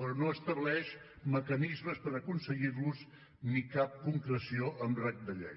però no estableix mecanismes per aconseguir los ni cap concreció amb rang de llei